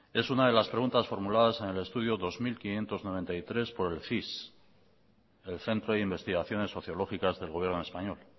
es una de las preguntas formuladas en el estudio dos mil quinientos noventa y tres por el cis el centro de investigaciones sociológicas del gobierno español